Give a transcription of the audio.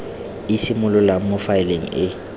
e simololang mo faeleng e